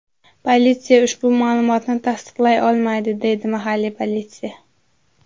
Politsiya ushbu ma’lumotni tasdiqlay olmaydi”, deydi mahalliy politsiya.